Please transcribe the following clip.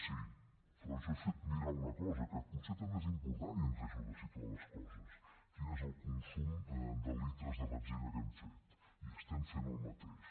sí però jo he fet mirar una cosa que potser també és important i ens ajuda a situar les coses quin és el consum de litres de benzina que hem fet i estem fent el mateix